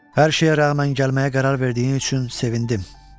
Hər şeyə rəğmən gəlməyə qərar verdiyi üçün sevindim.